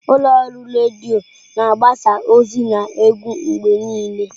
Ụlọ ọrụ redio na-agbasa ozi na egwu mgbe niile.